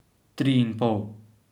Tri in pol.